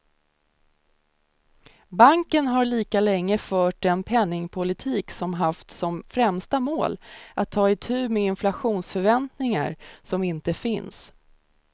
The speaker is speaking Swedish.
Banken har lika länge fört en penningpolitik som haft som främsta mål att ta itu med inflationsförväntningar som inte finns.